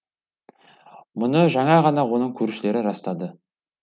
мұны жаңа ғана оның көршілері растады